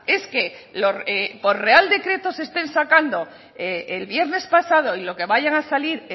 es que por real decreto se estén sacando el viernes pasado y lo que vayan a salir